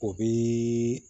O bi